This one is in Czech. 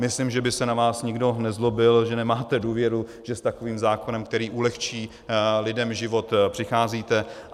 Myslím, že by se na vás nikdo nezlobil, že nemáte důvěru, že s takovým zákonem, který ulehčí lidem život, přicházíte.